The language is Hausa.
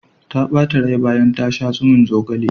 Ta ɓata rai bayan ta sha tsumin zogalen.